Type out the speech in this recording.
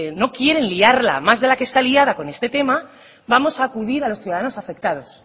no quieren liarla más de la que está liada con este tema vamos a acudir a los ciudadanos afectados